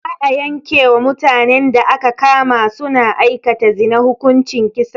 Za a yanke wa mutanen da aka kama su na aikata zina hukuncin kisa